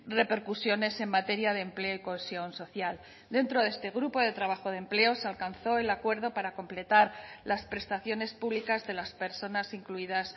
repercusiones en materia de empleo y cohesión social dentro de este grupo de trabajo de empleo se alcanzó el acuerdo para completar las prestaciones públicas de las personas incluidas